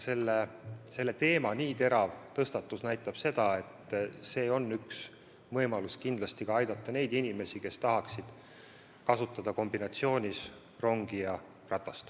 Selle teema nii terav tõstatus näitab seda, et see on üks võimalus aidata inimesi, kes tahaksid liikumiseks kasutada rongi ja ratast.